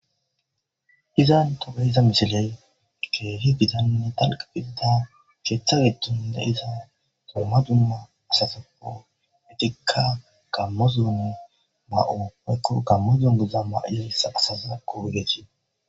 Iza achani diza misiley kehi gitanne woliqa gidida keththa giddoni deiza dumma dumma asatuppekka ezetikka Gamo zonneni kawo woyikko Gamo zone maraiza asatako